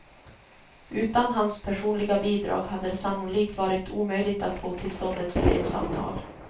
Utan hans personliga bidrag hade det sannolikt varit omöjligt att få till stånd ett fredsavtal.